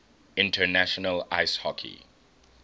international ice hockey